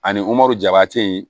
Ani mɔɔri jabɛtɛ